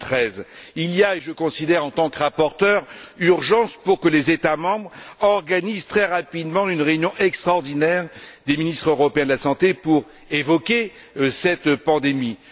2013. Il y a et je le considère en tant que rapporteur urgence pour que les États membres organisent très rapidement une réunion extraordinaire des ministres européens de la santé pour évoquer cette pandémie.